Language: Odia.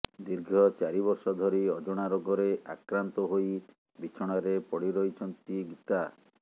ଦିର୍ଘ ଚାରି ବର୍ଷ ଧରି ଅଜଣା ରୋଗରେ ଆକ୍ରାନ୍ତ ହୋଇ ବିଛଣାରେ ପଡି ରହିଛନ୍ତି ଗୀତା